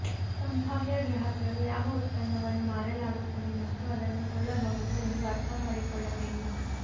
ಸಂಭಾವ್ಯ ಗ್ರಾಹಕರು ಯಾವ ಉತ್ಪನ್ನವನ್ನು ಮಾರಲಾಗುತ್ತದೆ ಮತ್ತು ಅದನ್ನು ಕೊಳ್ಳಬಹುದು ಎಂದು ಅರ್ಥ ಮಾಡಿಕೊಳ್ಳಬೇಕು